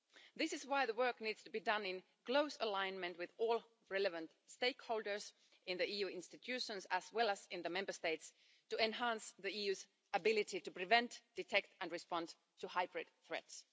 This is why the work needs to be done in close alignment with all relevant stakeholders in the EU institutions as well as in the Member States to enhance the EU's ability to prevent, detect and respond to hybrid threats.